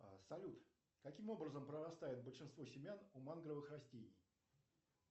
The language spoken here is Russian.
салют каким образом прорастают большинство семян у мангровых растений